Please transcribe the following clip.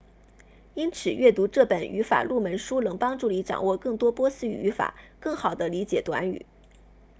因此阅读这本语法入门书能帮助你掌握更多波斯语语法更好地理解短语